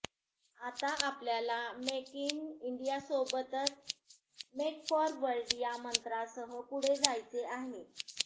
आता आपल्याला make in इंडियासोबतच मेक फॉर वर्ल्ड या मंत्रासह पुढे जायचे आहे